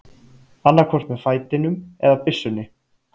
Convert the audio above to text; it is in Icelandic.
Annaðhvort með fætinum eða byssunni.